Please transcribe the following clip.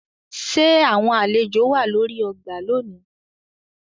Ṣe awọn alejo wà lórí ọgbà lónì?